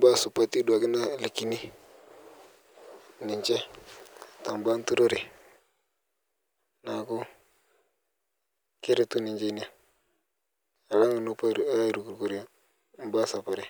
baya supati duake naalakini ninchee ta baya enturore. Naaku keretuu ninchee enia alang' nopoo airukrukore baya e saparee.